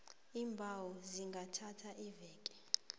iimbawo zingathatha iveke